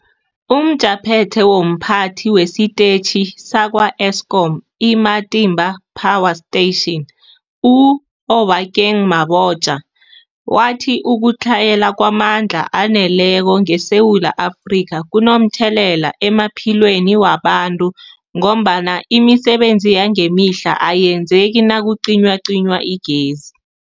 UmJaphethe womPhathi wesiTetjhi sakwa-Eskom i-Matimba Power Station u-Obakeng Mabotja wathi ukutlhayela kwamandla aneleko ngeSewula Afrika kunomthelela emaphilweni wabantu ngombana imisebenzi yangemihla ayenzeki nakucinywacinywa igezi.